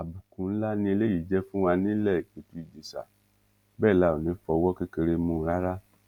àbùkù ńlá ni eléyìí jẹ fún wa nílé ìpẹtù ìjèṣà bẹẹ la ò ní í fọwọ kékeré mú un rárá